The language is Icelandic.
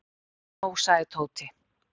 Þetta er nóg sagði Tóti.